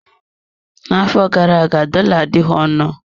N'afọ gara aga, dollar adịghị ọnụ.